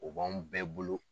O b'anw bɛɛ bolo